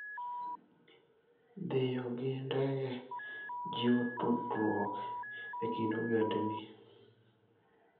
Dhiyo gi ndege jiwo tudruok e kind ogendini.